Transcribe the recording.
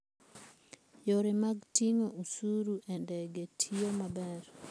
Yore mag ting'o osuru e ndege tiyo maber.